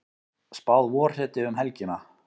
Spáð vorhreti um helgina